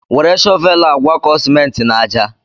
Were shọvel a gwakọọ simenti n'àjà.